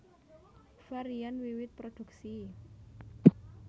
Varian wiwit produksi